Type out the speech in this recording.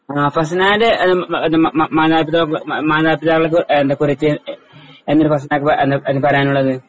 ആ ഫസ്നന്റെ മ മ മ മാതാപിതാ മാതാപിതാവിനെ കുറിച്ച് എന്തേ ഫസ്നയ്ക്ക് എന്താ പറയാനുള്ളത്.